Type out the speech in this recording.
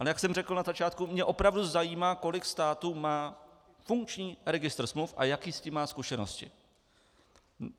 Ale jak jsem řekl na začátku, mě opravdu zajímá, kolik států má funkční registr smluv a jaké s tím má zkušenosti.